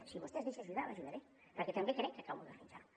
si vostè es deixa ajudar l’ajudaré perquè també crec que cal modernitzar ho